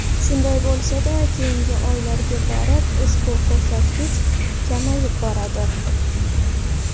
Shunday bo‘lsada, keyingi oylarga borib ushbu ko‘rsatkich kamayib boradi.